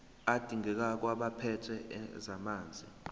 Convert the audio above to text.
adingekayo kwabaphethe ezamanzi